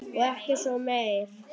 Og svo ekkert meir.